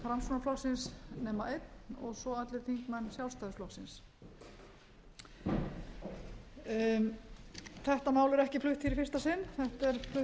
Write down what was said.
framsóknarflokksins nema einn svo og allir þingmenn sjálfstæðisflokksins þetta mál er ekki flutt hér í fyrsta sinn þetta er flutt